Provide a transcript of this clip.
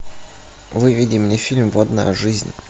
выведи мне фильм водная жизнь